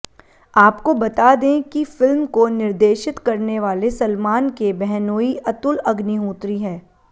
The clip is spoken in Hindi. आपको बता दें कि फिल्म को निर्देशित करने वाले सलमान के बहनोई अतुल अग्निहोत्री है